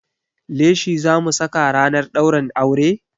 Leshi zamu saka ranar ɗaurin aure?